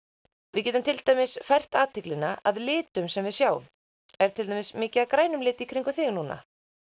við getum til dæmis fært athyglina að litum sem við sjáum er til dæmis mikið af grænum lit í kringum þig núna